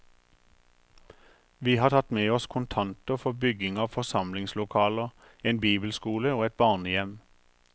Vi har tatt med oss kontanter for bygging av forsamlingslokaler, en bibelskole og et barnehjem.